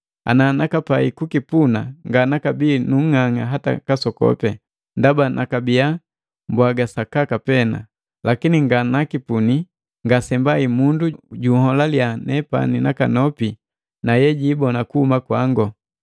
Ana nakapai kukipuna nganakabii nung'ang'a hata kasokopi, ndaba nakabiya mbwaga sakaka pena. Lakini nganakipuni, ngasembai mundu juholaliya nakanopi nepani na yejiibona kuhuma kwangu.